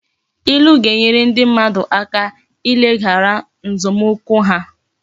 Ilu ga-enyere ndi mmadu aka ileghara nzomukwu ha